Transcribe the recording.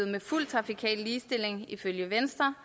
med fuld trafikal ligestilling ifølge venstre